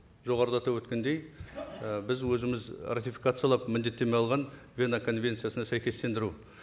жоғарыда атап өткендей і біз өзіміз ратификациялап міндеттеме алған вена конвенциясына сәйкестендіру